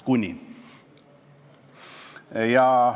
Kuni!